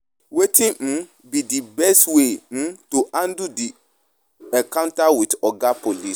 wetin um be di best way um to handle di encounter with oga police?